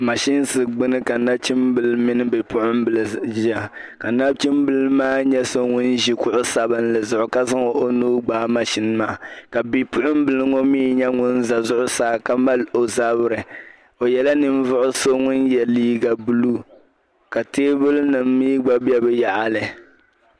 Machine ka nachimbil mini bipuɣimbili ʒiya ka nachimbil maa ye ŋun ʒi kuɣu sabinli zuɣu ka zaŋ o nuu gbaai machine maa ka bipuɣimbili ŋɔ nye ŋun za zuɣu saa ka mali o zabiri o nyɛla ninvuhi so ŋun ye liiga blue ka teebuli nim mi gba be di yaɣili.